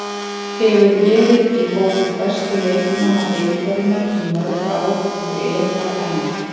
Hefur verið í hópi bestu leikmanna deildarinnar í mörg ár og er þar enn.